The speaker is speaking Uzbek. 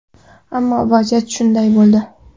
Ammo, vaziyat shunday bo‘ldi.